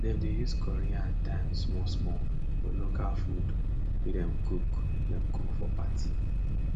dem dey use curry and thyme small small for local food wey dem cook dem cook for party